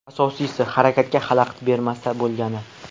Asosiysi, harakatga xalaqit bermasa bo‘lgani.